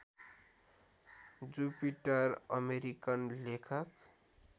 Jupiter American लेखक